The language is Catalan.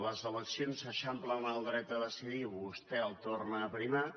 les eleccions eixamplen el dret a decidir i vostè el torna a aprimar